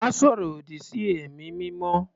Má sọ̀rọ̀ òdì sí ẹ̀mí mímọ́.